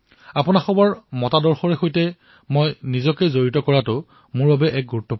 আপোনালোকৰ চিন্তাধাৰাৰ সৈচে জড়িত হোৱাটো মোৰ বাবে এক ডাঙৰ কথা